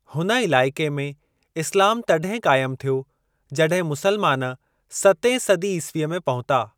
हुन इलाइक़े में इस्लामु तॾहिं क़ाइमु थियो जॾहिं मुसलमान सतें सदी ईसवीअ में पहुता।